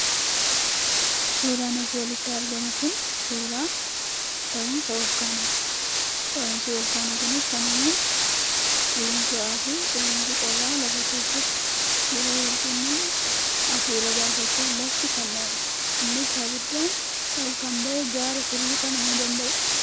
Suuraan asii olitti argamu kun suuraa dhohiinsa volkaanooti. Dhohiinsi volkaanoo kunis kan uumamu, qilleensi ho'aa fi qilleensi qorraa lafa keessatti yeroo wal-quunnamu hafuura baafachuuf lafti kan dhohudha. Innis abiddaan ol kan bahee gaara tulluu kan uumuu danda'udha.